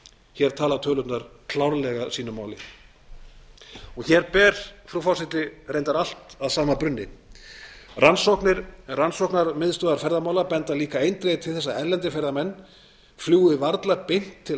hér tala tölurnar klárlega sínu máli hér ber frú forseti reyndar allt að sama brunni rannsóknir rannsóknarmiðstöðvar ferðamála benda líka eindregið til þess að erlendir ferðamenn fljúgi varla beint til